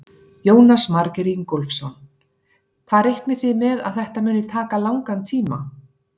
Jónas Margeir Ingólfsson: Hvað reiknið þið með að þetta muni taka langan tíma?